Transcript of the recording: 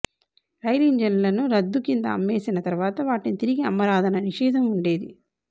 రైలింజన్లను రద్దు కింద అమ్మేసిన తర్వాత వాటిని తిరిగి అమ్మరాదన్న నిషేధం ఉండేది